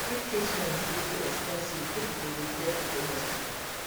if treatment dey too expensive pipo go dey fear to go hospital